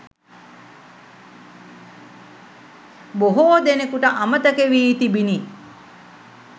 බොහෝ දෙනෙකුට අමතක වී තිබිණි.